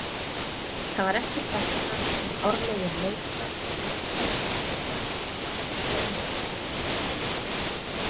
Það var eftir þetta sem árlegir leikar Arnkels og Þorbrandssona lögðust af.